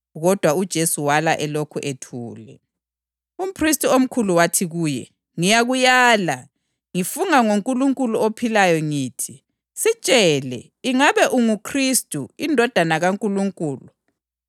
Kodwa uJesu wala elokhu ethule. Umphristi omkhulu wathi kuye, “Ngiyakulaya, ngifunga ngoNkulunkulu ophilayo ngithi: Sitshele ingabe unguKhristu, iNdodana kaNkulunkulu.”